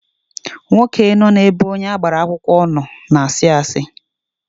Nwoke nọ na ebe onye agbara akwụkwọ na-ano na asị asị